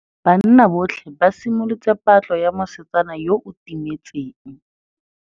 Banna botlhê ba simolotse patlô ya mosetsana yo o timetseng.